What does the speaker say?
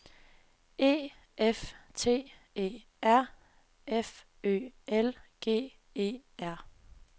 E F T E R F Ø L G E R